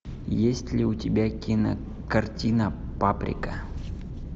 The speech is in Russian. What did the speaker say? есть ли у тебя кинокартина паприка